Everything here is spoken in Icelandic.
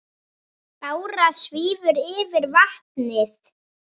Bára svífur yfir vatnið.